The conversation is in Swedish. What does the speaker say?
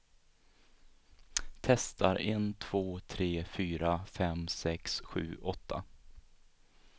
Testar en två tre fyra fem sex sju åtta.